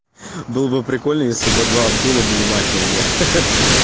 было бы прикольно если бы два абдулла были мафиями ха-ха